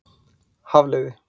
Hafliði